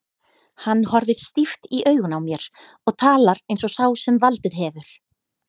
Hann horfir stíft í augun á mér og talar eins og sá sem valdið hefur.